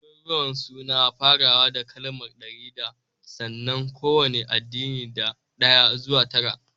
Daruruwan suna farawa da kalmar (ɗari da) sannan kowane adadi na ɗaya zuwa tara